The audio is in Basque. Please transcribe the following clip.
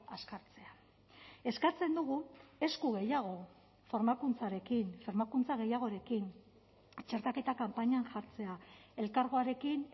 azkartzea eskatzen dugu esku gehiago formakuntzarekin formakuntza gehiagorekin txertaketa kanpainan jartzea elkargoarekin